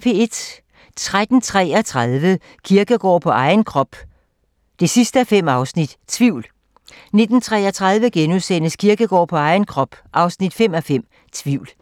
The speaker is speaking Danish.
13:33: Kierkegaard på egen krop 5:5 – Tvivl 19:33: Kierkegaard på egen krop 5:5 – Tvivl *